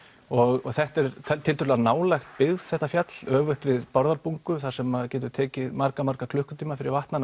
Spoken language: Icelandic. og þetta er tiltölulega nálægt byggð þetta fjall öfugt við Bárðarbungu þar sem að getur tekið marga marga klukkutíma fyrir vatn að